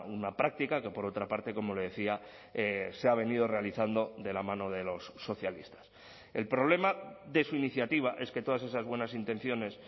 una práctica que por otra parte como le decía se ha venido realizando de la mano de los socialistas el problema de su iniciativa es que todas esas buenas intenciones